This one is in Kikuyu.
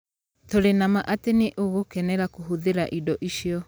Tũrĩ na ma atĩ nĩ ũgũkenera kũhũthĩra indo icio.